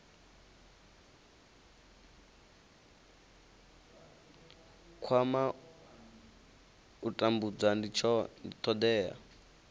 kwama u tambudza ndi thodea